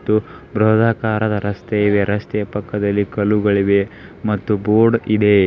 ಮತ್ತು ಬ್ರಹದಾಕಾರದ ರಸ್ತೆ ಇದೆ ರಸ್ತೆಯ ಪಕ್ಕದಲ್ಲಿ ಕಲ್ಲುಗಳಿವೆ ಮತ್ತು ಬೋರ್ಡ್ ಇದೆ.